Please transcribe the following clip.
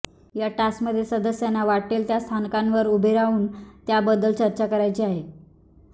या टास्कमध्ये सदस्यांना वाटेल त्या स्थानकांवर उभे राहून त्याबद्दल चर्चा करायची आहे